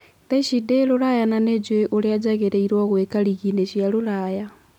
Thaici ndĩ Ruraya na nĩjũĩ ũrĩa njagĩrĩirwo nĩgwika rigiinĩ cia Ruraya.